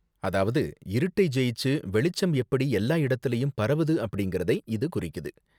அதாவது இருட்டை ஜெயிச்சு வெளிச்சம் எப்படி எல்லா இடத்துலயும் பரவுது அப்படிங்கறதை இது குறிக்குது.